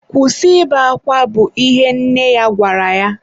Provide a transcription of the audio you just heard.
Kwụsị ibe akwa! bụ ihe nne ya gwara ya.